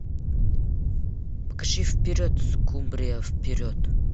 покажи вперед скумбрия вперед